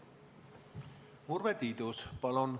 Urve Tiidus, palun!